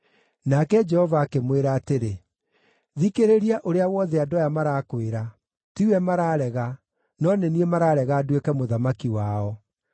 Nake Jehova akĩmwĩra atĩrĩ, “Thikĩrĩria ũrĩa wothe andũ aya marakwĩra; tiwe mararega, no nĩ niĩ mararega nduĩke mũthamaki wao.